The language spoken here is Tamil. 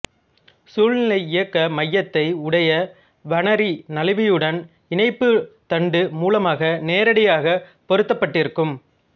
சுழலியக்க மையத்தை உடைய வணரி நழுவியுடன் இணைப்புத் தண்டு மூலமாக நேரடியாக பொருத்தப்பட்டிருக்கும்